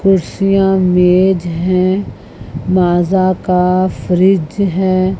कुर्सियां मेज है माजा का फ्रिज है।